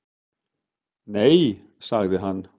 Nei, sagði hann.